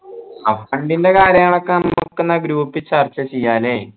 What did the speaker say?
ആ fund ൻ്റെ കാര്യങ്ങളൊക്കെ group ൽ ചർച്ച ചെയ്യ അല്ലെ